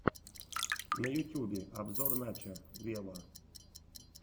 на ютюбе обзор начо вево